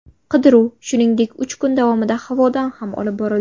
Qidiruv, shuningdek, uch kun davomida havodan ham olib borildi.